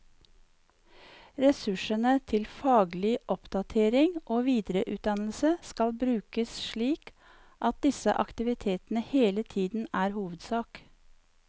Ressursene til faglig oppdatering og videreutdannelse skal brukes slik at disse aktivitetene hele tiden er hovedsak.